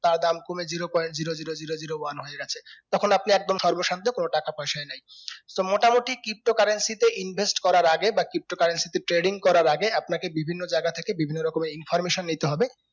তার দাম কমে zero point zero zero zero zero one হয়ে গেছে তখন আপনি একদম সর্ব শান্ত কোনো টাকা পয়সায় নেই তো মোটামুটি pto currency তে invest করার আগে বা pto currency তে trading করার আগে আপনাকে বিভিন্ন জায়গা থেকে বিভিন্ন রকমের information নিতে হবে